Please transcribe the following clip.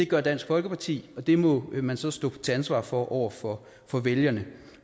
gør dansk folkeparti og det må man så stå til ansvar for over for for vælgerne